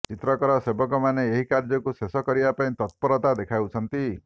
ଚିତ୍ରକର ସେବକମାନେ ଏହି କାର୍ୟ୍ୟକୁ ଶେଷ କରିବା ପାଇଁ ତତ୍ପରତା ଦେଖାଉଛନ୍ତି